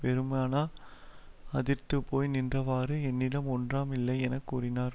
வெறுமன அதிர்ந்து போய் நின்றவாறு என்னிடம் ஒன்றாம் இல்லை என கூறினார்